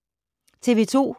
TV 2